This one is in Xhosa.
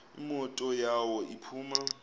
imoto yawo iphuma